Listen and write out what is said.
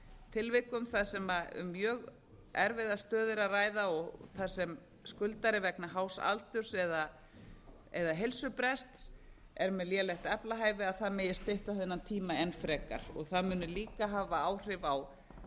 tilvikum þar sem um mjög erfiða stöðu er að ræða og þar sem skuldari vegna hás aldurs eða heilsubrests er með lélegt aflahæfi að það megi stytta þennan tíma enn frekar og það muni líka hafa áhrif á